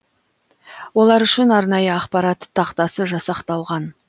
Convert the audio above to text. олар үшін арнайы ақпарат тақтасы жасақталған